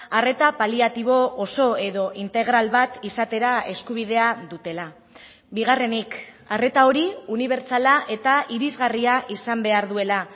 arreta paliatibo oso edo integral bat izatera eskubidea dutela bigarrenik arreta hori unibertsala eta irisgarria izan behar duela